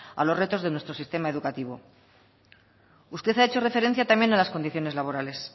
a los retos de nuestro sistema educativo usted ha hecho referencia también a las condiciones laborales